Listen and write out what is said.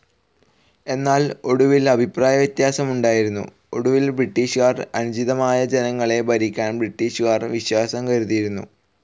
എന്നാൽ, ഒടുവിൽ അഭിപ്രായവ്യത്യാസം ഉണ്ടായിരുന്നു. ഒടുവിൽ ബ്രിട്ടീഷ്കാർ അനുചിതമായ ജനങ്ങളെ ഭരിക്കാൻ ബ്രിട്ടീഷുകാർ വിശ്വാസം കരുതിയിരുന്നു.